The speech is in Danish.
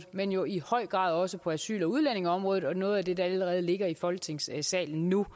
men jo i høj grad også på asyl og udlændingeområdet og det er noget af det der allerede ligger i folketingssalen nu